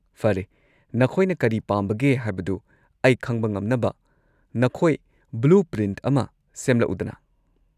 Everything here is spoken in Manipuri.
ꯐꯔꯦ, ꯅꯈꯣꯏꯅ ꯀꯔꯤ ꯄꯥꯝꯕꯒꯦ ꯍꯥꯏꯕꯗꯨ ꯑꯩ ꯈꯪꯕ ꯉꯝꯅꯕ ꯅꯈꯣꯏ ꯕ꯭ꯂꯨꯄ꯭ꯔꯤꯟꯠ ꯑꯃ ꯁꯦꯝꯂꯛꯎꯗꯅ꯫